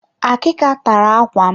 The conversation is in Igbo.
Akika tara ákwà m.